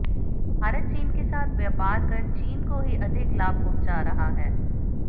भारत चीन के साथ व्यापार कर चीन को ही अधिक लाभ पहुंचा रहा है